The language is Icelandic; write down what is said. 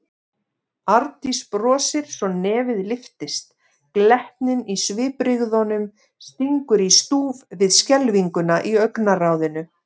Arndís brosir svo nefið lyftist, glettnin í svipbrigðunum stingur í stúf við skelfinguna í augnaráðinu.